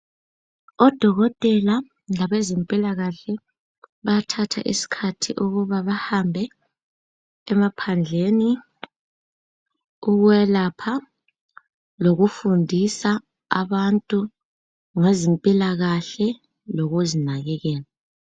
odokotela labasezempilakahle bayathatha isikhathi ukuba bahambe emaphandleni ukwelapha lokufundisa abantu ngezempilakahle lokuzinakekela